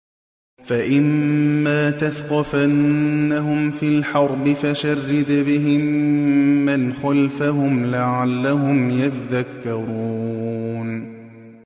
فَإِمَّا تَثْقَفَنَّهُمْ فِي الْحَرْبِ فَشَرِّدْ بِهِم مَّنْ خَلْفَهُمْ لَعَلَّهُمْ يَذَّكَّرُونَ